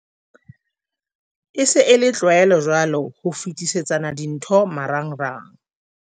"E se e le tlwaelo jwale ho fetisetsana dintho marangrang."